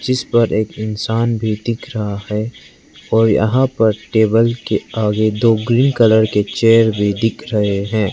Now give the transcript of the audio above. जिस पर एक इंसान भी दिख रहा है और यहां पर टेबल के आगे दो ग्रीन कलर के चेयर भी दिख रहे हैं।